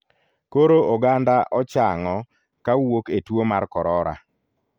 Koro oganda chang'o kawuok e tuo mar korora.